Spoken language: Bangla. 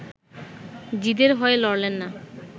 জিদের হয়ে লড়লেন না